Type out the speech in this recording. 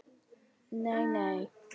Nei nei.